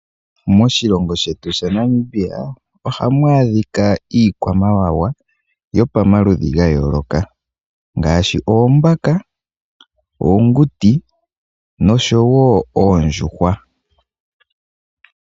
Moshilongo shetu ShaNamibia ohamu adhika iikwamawawa, yopamaludhi ga yooloka. Ngaashi oombaka, oonguti, noshowo oondjuhwa.